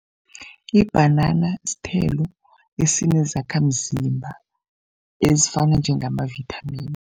Ibhanana sithelo esinezakhamzimba, ezifana njengamavithamini.